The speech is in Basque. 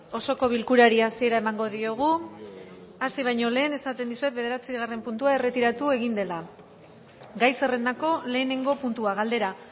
osoko bilkurari hasiera emango diogu hasi baino lehen esaten dizuet bederatzigarren puntua erretiratu egin dela gai zerrendako lehenengo puntua galdera